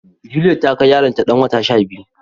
Juliet ta kai yaro ta dan wata shabiyu